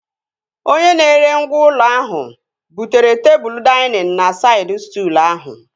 Onye na-ere ngwá ụlọ ahụ butere tebụl dainịn na saịd stụlụ ahụ